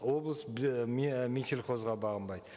облыс минсельхозға бағынбайды